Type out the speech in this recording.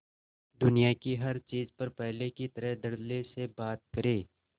दुनिया की हर चीज पर पहले की तरह धडल्ले से बात करे